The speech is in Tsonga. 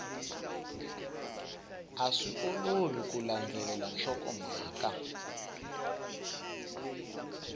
swi olovi ku landzelela nhlokomhaka